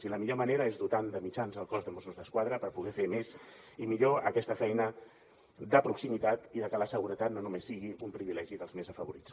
i la millor manera és dotant de mitjans el cos de mossos d’esquadra per poder fer més i millor aquesta feina de proximitat i que la seguretat no només sigui un privilegi dels més afavorits